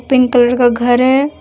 Pink colour का घर है।